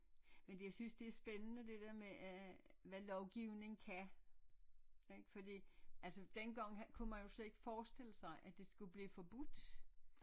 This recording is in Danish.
Men jeg synes det er spændende det der med at hvad lovgivning kan ik fordi altså dengang kunne man jo slet ikke forestille sig at det skulle blive forbudt